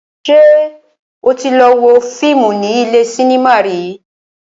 Ṣé o tí lọ wo fíìmù ní ilé cinema rí?